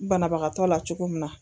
Banabagatɔ la cogo min na